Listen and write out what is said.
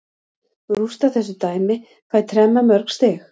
Rústa þessu dæmi, fæ tremma mörg stig.